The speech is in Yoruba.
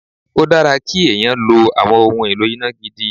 Ó dára kí èèyàn lo àwọn ohun èlò iná gidi.